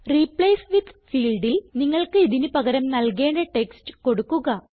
replace with ഫീൽഡിൽ നിങ്ങൾക്ക് ഇതിന് പകരം നൽകേണ്ട ടെക്സ്റ്റ് കൊടുക്കുക